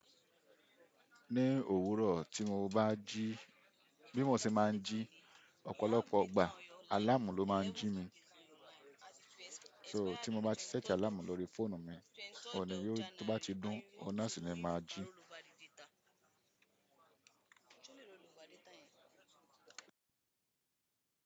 Ní òwúrọ̀ tí mo bá jí, bí mo ṣe máa ń jí ọ̀pọ̀lọpọ̀ igbà, àláàmù ló máa ń jí mi. So tí mo bá ti ṣẹ́tì àláàmù lórí fóònù mi, ọ̀un ni yoo tó bá ti dún, ọ̀nà sì ni mà á jí.